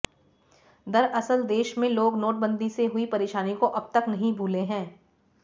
दरअसल देश में लोग नोटबंदी से हुई परेशानी को अब तक भूले नहीं हैं